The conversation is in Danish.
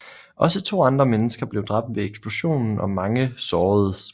Også 2 andre mennesker blev dræbt ved eksplosionen og mange såredes